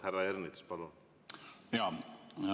Härra Ernits, palun!